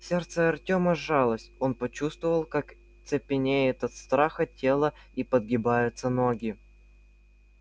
сердце артёма сжалось он почувствовал как цепенеет от страха тело и подгибаются ноги